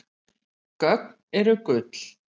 Gögn eru gull